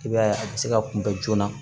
I b'a ye a bɛ se ka kunbɛ joona